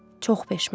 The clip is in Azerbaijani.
Çox peşmanam.